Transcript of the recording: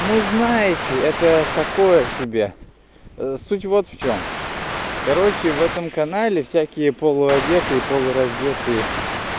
ну знаете это такое себе суть вот в чём короче в этом канале всякие полу одетые полураздетые